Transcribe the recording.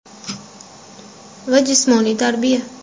va jismoniy tarbiya.